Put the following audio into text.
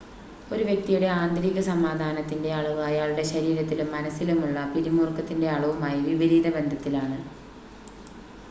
ഒരു വ്യക്തിയുടെ ആന്തരിക സമാധാനത്തിൻ്റെ അളവ് അയാളുടെ ശരീരത്തിലും മനസ്സിലുമുള്ള പിരിമുറുക്കത്തിൻ്റെ അളവുമായി വിപരീത ബന്ധത്തിലാണ്